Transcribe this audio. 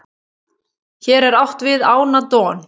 hér er átt við ána don